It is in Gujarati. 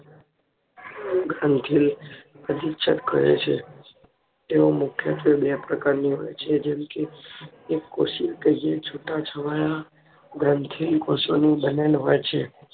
અભિછેદ કહે છે તે મુખ્યત્વે બે પ્રકારની હોય છે જેમ કે એક કોશી કહીયે છુટા છવાયા ગ્રંથી કોષોની બનેલ હોય છે